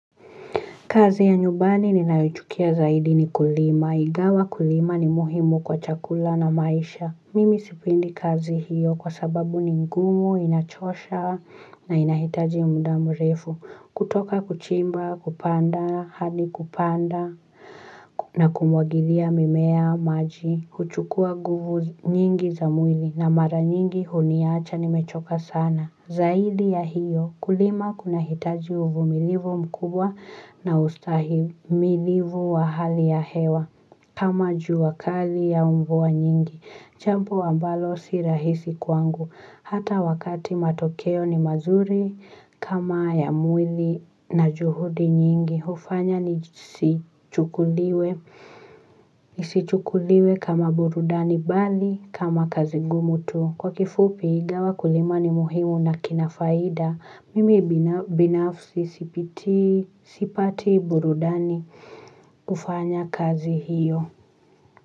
Kazi ya nyumbani ninayoichukia zaidi ni kulima. Ingawa kulima ni muhimu kwa chakula na maisha. Mimi sipendi kazi hiyo kwa sababu ni ngumu, inachosha na inahitaji muda mrefu. Kutoka kuchimba, kupanda, hadi kupanda na kumwagilia mimea maji. Huchukua nguvu nyingi za mwili na mara nyingi huniacha nimechoka sana. Zaidi ya hiyo kulima kuna hitaji uvumilivu mkubwa na ustahimilivu wa hali ya hewa kama juwakali ya umvua nyingi. Jambo ambalo si rahisi kwangu. Hata wakati matokeo ni mazuri kama ya mwili na juhudi nyingi. Hufanya nisi chukuliwe kama burudani bali kama kazi ngumu tu. Kwa kifupi ingawa kulima ni muhimu na kina faida, mimi binafsi sipati burudani kufanya kazi hiyo.